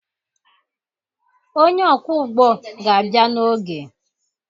Onye ọkwọụgbọ ga-abịa n'oge